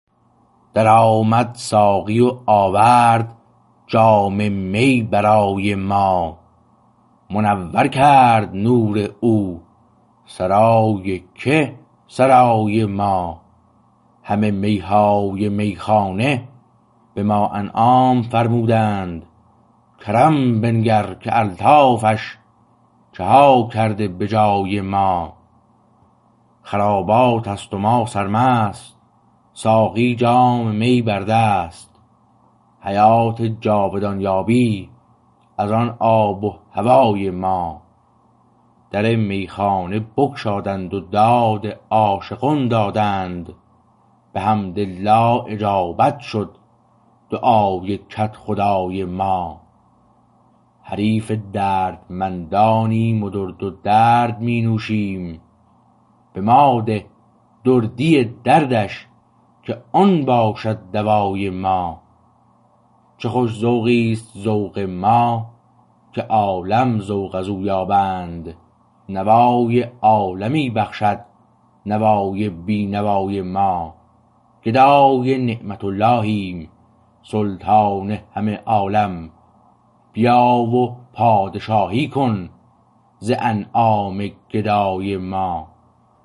در آمد ساقی و آورد جام می برای ما منور کرد نور او سرای که سرای ما همه می های میخانه به ما انعام فرمودند کرم بنگر که الطافش چه ها کرده به جای ما خراباتست و ما سرمست و ساقی جام می بر دست حیات جاودان یابی از آن آب و هوای ما در میخانه بگشادند و داد عاشقان دادند به حمدالله اجابت شد دعای کدخدای ما حریف دردمندانیم و درد درد مینوشیم به ماده دردی دردش که آن باشد دوای ما چه خوش ذوقیست ذوق ما که عالم ذوق از او یابند نوای عالمی بخشد نوای بی نوای ما گدای نعمت اللهیم سلطان همه عالم بیا و پادشاهی کن ز انعام گدای ما